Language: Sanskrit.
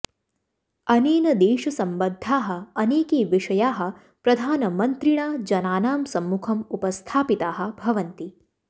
अनेन देशसम्बद्धाः अनेके विषयाः प्रधानमन्त्रिणा जनानां सम्मुखं उपस्थापिताः भवन्ति